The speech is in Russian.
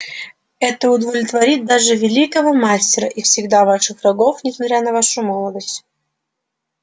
это удовлетворит даже великого мастера и всегда ваших врагов несмотря на вашу молодость